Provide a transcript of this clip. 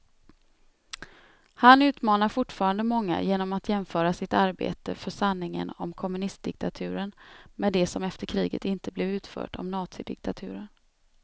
Han utmanar fortfarande många genom att jämföra sitt arbete för sanningen om kommunistdiktaturen med det som efter kriget inte blev utfört om nazidiktaturen.